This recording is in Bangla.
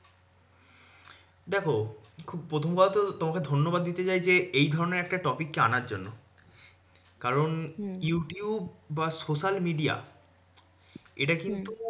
দেখো খুব প্রথম কথা তো, তোমাকে ধন্যবাদ দিতে চাই যে, এই ধরণের একটা topic কে আনার জন্য। কারণ হম youtube বা social media এটা কিন্তু হম